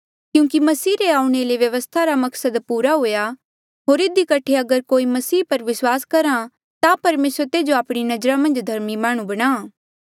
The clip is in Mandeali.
क्यूंकि मसीह रे आऊणें ले व्यवस्था रा मकसद पूरा हुआ होर इधी कठे अगर कोई मसीह पर विस्वास करहा ता परमेसर तेजो आपणी नजरा मन्झ धर्मी माह्णुं बणा